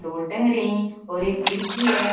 दो टंगरी और एक खिड़की है।